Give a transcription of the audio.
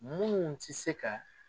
Munnu ti se ka